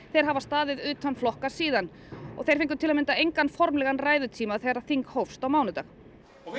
þeir hafa staðið utan flokka síðan þeir fengu til að mynda engan formlegan ræðutíma þegar þing hófst á mánudag og